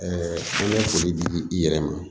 an bɛ foli di i yɛrɛ ma